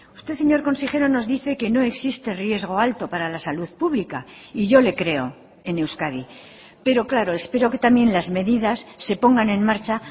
usted señor consejero nos dice que no existe riesgo alto para la salud pública y yo le creo en euskadi pero claro espero que también las medidas se pongan en marcha